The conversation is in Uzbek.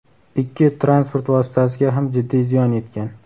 Ikki transport vositasiga ham jiddiy ziyon yetgan.